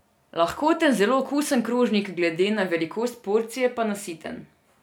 Lahkoten, zelo okusen krožnik, glede na velikost porcije pa nasiten.